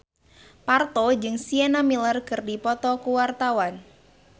Parto jeung Sienna Miller keur dipoto ku wartawan